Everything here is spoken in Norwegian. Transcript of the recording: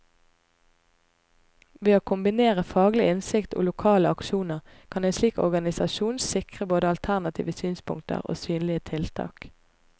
Ved å kombinere faglig innsikt og lokale aksjoner, kan en slik organisasjon sikre både alternative synspunkter og synlige tiltak.